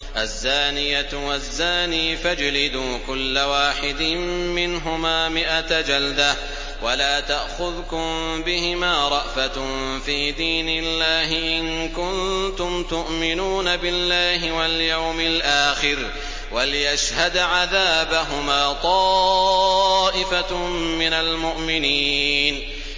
الزَّانِيَةُ وَالزَّانِي فَاجْلِدُوا كُلَّ وَاحِدٍ مِّنْهُمَا مِائَةَ جَلْدَةٍ ۖ وَلَا تَأْخُذْكُم بِهِمَا رَأْفَةٌ فِي دِينِ اللَّهِ إِن كُنتُمْ تُؤْمِنُونَ بِاللَّهِ وَالْيَوْمِ الْآخِرِ ۖ وَلْيَشْهَدْ عَذَابَهُمَا طَائِفَةٌ مِّنَ الْمُؤْمِنِينَ